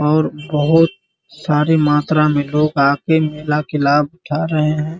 और बहुत सारे मात्रा मे लोग आके मेला के लाभ उठा रहे हैं |